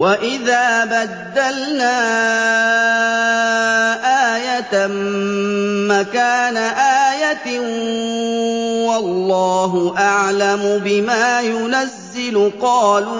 وَإِذَا بَدَّلْنَا آيَةً مَّكَانَ آيَةٍ ۙ وَاللَّهُ أَعْلَمُ بِمَا يُنَزِّلُ قَالُوا